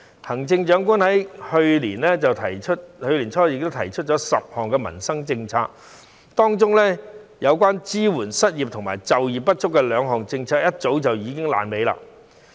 行政長官去年年初亦提出了10項民生政策，當中有關支援失業及就業不足的兩項政策早已爛尾。